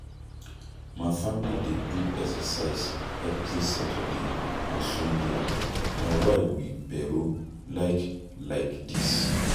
My family dey do exercise every Saturday and Sunday Na why we pero like like dis